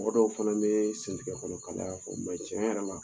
Mɔgɔ dɔw fɛnɛ bɛ sɛn tigɛ kɔnɔ kalaya fɔ o ma ɲi tiɲɛ yɛrɛ la